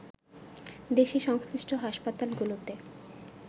দেশের সংশ্লিষ্ট হাসপাতালগুলোতে